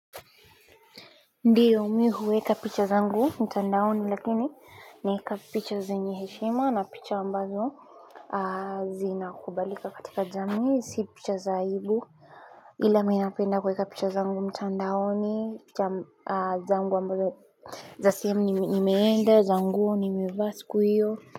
Ndiyo mi huweka picha zangu mtandaoni lakini naeka picha zenye heshima na picha ambazo zinakubalika katika jami si picha za aibu ila mi napenda kuweka picha zangu mtandaoni picha zangu ambazo za sehemu nimeenda za nguo nimevaa siku hiyo.